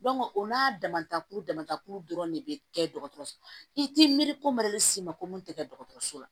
o n'a damatakuru damata kulu dɔrɔn de bɛ kɛ dɔgɔtɔrɔso i t'i miiri ko ma ko mun tɛ kɛ dɔgɔtɔrɔso la